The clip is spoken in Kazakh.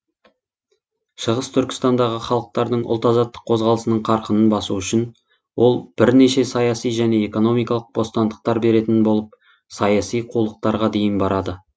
шығыс түркістандағы халықтардың ұлтазаттық қозғалысының қарқынын басу үшін ол бірнеше саяси және экономикалық бостандықтар беретін болып саяси қулықтарға дейін барады